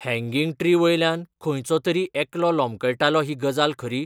Hanging tree वयल्यान खंयचो तरी एकलो लोंबकळटालो ही गजाल खरी ?